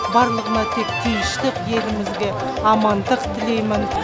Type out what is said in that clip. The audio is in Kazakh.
барлығына тек тыныштық елімізге амандық тілеймін